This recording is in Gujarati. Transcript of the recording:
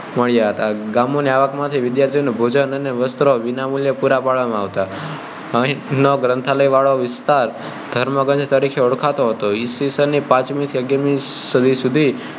મળ્યા હતા ગામો નાં આવક માંથી વિદ્યાર્થીઓ ને ભોજન અને વસ્ત્ર વિના મૂલ્યે પૂરાં પાડવામાં આવતા હતા અહીં નાં ગ્રંથાલય નો વિસ્તાર ધર્મગંજ તરીકે ઓળખાતો હતો ઈસ ની પાંચમી થી અગિયારમી સદી સુધીમાં